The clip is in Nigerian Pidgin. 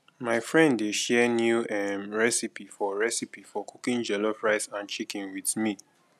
my friend dey share new um recipe for recipe for cooking jollof rice and chicken with me